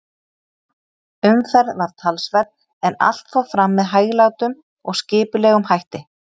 Umferð var talsverð, en allt fór fram með hæglátum og skipulegum hætti.